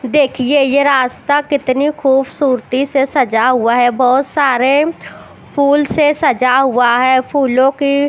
देखिये ये रास्ता कितनी खूबसूरती से सजा हुआ है बहुत सारे फूल से सजा हुआ है फूलो की --